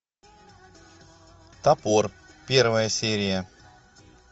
топор первая серия